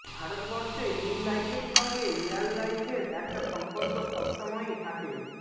ভারতবর্ষে রিল লাইফের সঙ্গে রিয়াল লাইফের একটা সম্পর্ক সবসময়ই থাকে